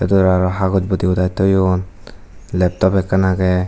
te aro hagoj bodi budai toyoun laptop ekkan age.